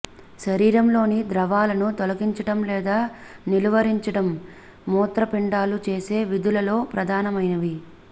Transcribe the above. శరీరంలోని ద్రవాలను తొలగించడం లేదా నిలువరించడం మూత్రపిండాలు చేసే విధులలో ప్రధానమైనవి